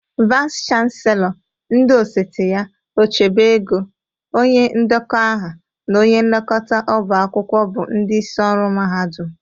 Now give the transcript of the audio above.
Vais chanselọ, ndị osote ya, ochebe ego, onye ndekọ aha na onye nlekọta ọba akwụkwọ bụ ndịisi ọrụ mahadụm.